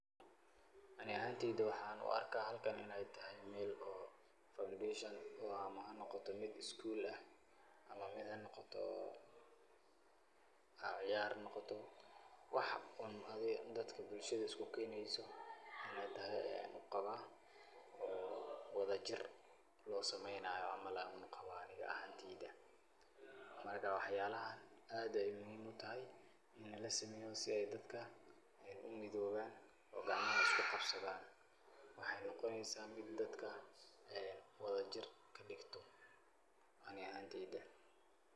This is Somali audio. Ani ahaanteyda waxaan u arkaa halkan inay tahay meel oo foundation ama hanoqato mid school ah, ama mid hanoqato ciyaar hanoqato. Wax un adi dadka bulshada isku keeneyso inay tahay ayan uqabaa oo wadajir loo sameynayo camal aan uqabaa anig ahaanteyda. Marka waxyaalahan aad ayaa muhiim u tahay inay lasameeyo si ay dadka umidooban oo gacmaha isku qabsadaan. Waxay noqoneysaa mid dadka wadajir ka dhigto ani ahaanteyda.